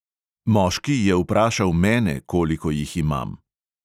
Moški je vprašal mene, koliko jih imam.